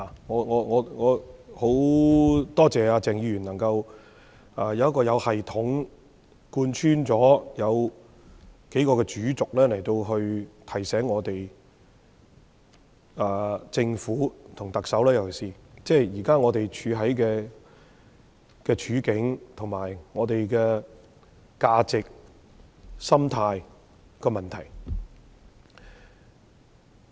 我很感謝鄭議員，他發言時有系統地貫穿數個主軸，以提醒我們及政府——尤其是特首，現時香港的處境、價值和心態等問題。